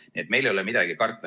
Nii et meil ei ole midagi karta.